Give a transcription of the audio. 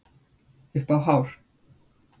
Upp á hár